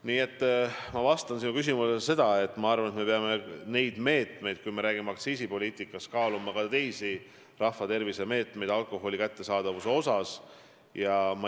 Nii et ma vastan sinu küsimusele nii, et minu arvates me peame, kui me räägime aktsiisipoliitikast, kaaluma ka teisi rahvatervise meetmeid alkoholi kättesaadavuse vähendamiseks.